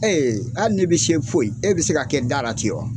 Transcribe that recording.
hali n'e bɛ se foyi e bɛ se ka kɛ dara ten wa.